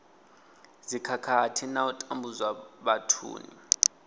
dzikhakhathi na u tambudzwa vhathuni